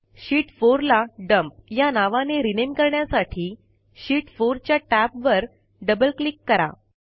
शीत 4 ला डम्प या नावाने रिनेम करण्यासाठी शीत 4 च्या टॅबवर डबल क्लिक करा